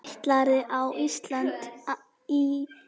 Ætlarðu á Ísland- Ítalía?